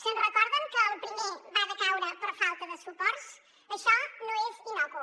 se’n recorden que el primer va decaure per falta de suports això no és innocu